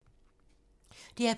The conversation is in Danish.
DR P2